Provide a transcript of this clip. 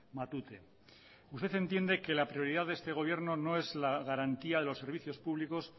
matute usted entiende que la prioridad de este gobierno no es la garantía de los servicios públicos